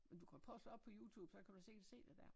Men du kan prøve at slå op på Youtube så kan du selv se det dér